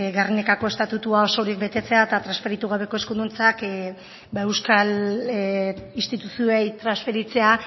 gernikako estatutua osorik betetzea eta transferitu gabeko eskuduntzak ba euskal instituzioei transferitzea